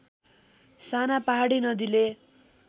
साना पहाडी नदीले